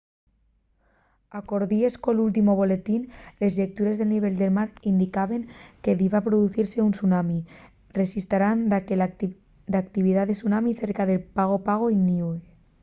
alcordies col últimu boletín les llectures del nivel del mar indicaben que diba producise un tsunami rexistraran daqué d'actividá de tsunami cerca de pago pago y niue